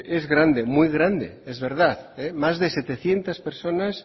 es grande muy grande es verdad más de setecientos personas